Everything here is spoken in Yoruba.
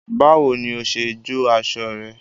Báwo ni o ṣe jó aṣọ rẹ?